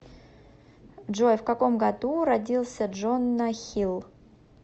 джой в каком году родился джона хилл